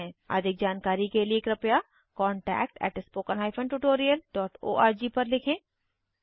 अधिक जानकारी के लिए कृपया contactspoken tutorialorg पर लिखें